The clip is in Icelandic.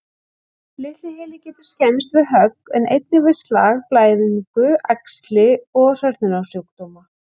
Litli heili getur skemmst við högg, en einnig við slag, blæðingu, æxli og hrörnunarsjúkdóma.